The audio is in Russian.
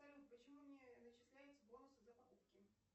почему не начисляются бонусы за покупки